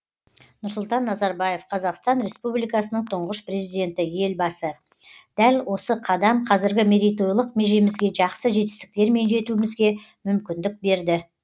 нұрсұлтан назарбаев қазақстан республикасының тұңғыш президенті елбасы дәл осы қадам қазіргі мерейтойлық межемізге жақсы жетістіктермен жетуімізге мүмкіндік берді